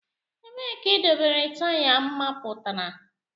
Ebee ka idobere taya mapụtara?